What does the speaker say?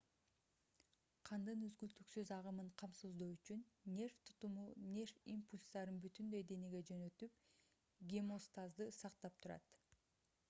кандын үзгүлтүксүз агымын камсыздоо үчүн нерв тутуму нерв импульстарын бүтүндөй денеге жөнөтүп гемостазды сактап турат